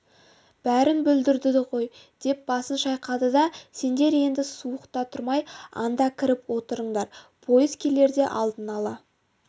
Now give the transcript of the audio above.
бәрін бүлдірді ғой деп басын шайқады да сендер енді суықта тұрмай анда кіріп отырыңдар пойыз келерде алдын ала